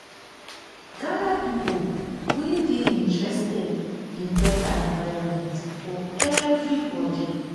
gather people wey dey interested in better environment for everybody. um